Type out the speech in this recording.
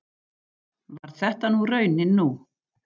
Varð þetta raunin nú